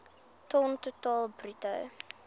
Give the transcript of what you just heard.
ton totaal bruto